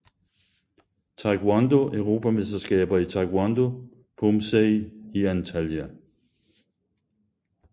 Taekwondo Europamesterskaber i Taekwondo Poomsae i Antalya